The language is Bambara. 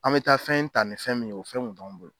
An mi taa fɛn ta ni fɛn min ye, o fɛn kun t'anw bolo